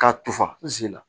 Ka tufa n sin la